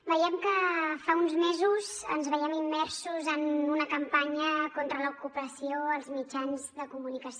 veiem que fa uns mesos ens veiem immersos en una campanya contra l’ocupació als mitjans de comunicació